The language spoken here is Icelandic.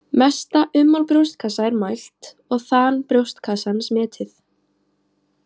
Mesta ummál brjóstkassa er mælt og þan brjóstkassans metið.